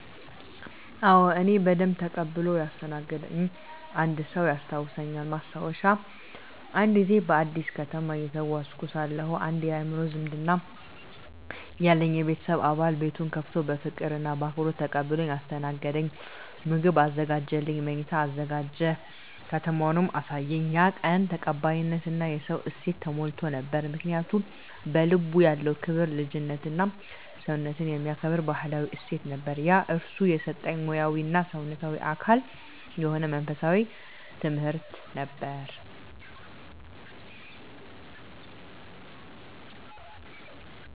አዎ፣ እኔን በደንብ ተቀብሎ ያስተናገደኝ አንድ ሰው ያስታውሳልኝ። ማስታወሻ፦ አንድ ጊዜ በአዲስ ከተማ እየተጓዝኩ ሳለሁ አንድ የአእምሮ ዝምድና ያለኝ የቤተሰብ አባል ቤቱን ከፍቶ በፍቅር እና በአክብሮት ተቀብሎኝ አስተናገደኝ። ምግብ አዘጋጀልኝ፣ መኝታ አዘጋጀ፣ ከተማውንም አሳየኝ። ያ ቀን ተቀባይነት እና የሰውነት እሴት ተሞልቶ ነበር። ምክንያቱ? በልቡ ያለው ክብር፣ ልጅነትና ሰውነትን የሚከብር ባህላዊ እሴት ነበር። ያ እርሱ ከሰጠኝ ሙያዊ እና ሰውነታዊ አካል የሆነ መንፈሳዊ ትምህርት ነበር።